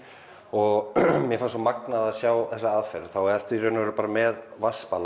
og mér fannst svo magnað að sjá þessa aðferð þá ertu í raun og veru bara með